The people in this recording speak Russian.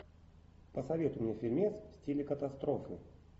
посоветуй мне фильмец в стиле катастрофы